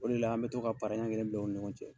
O de la. an bɛ to ka para ɲan kelen bila ka ni ɲɔgɔn cɛ.